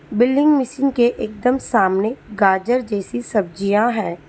Building machine के एकदम सामने गाजर जैसी सब्जियां हैं।